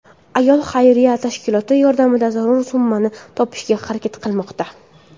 Ayol xayriya tashkilotlari yordamida zarur summani topishga harakat qilmoqda.